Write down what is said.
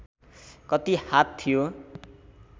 कति हात थियो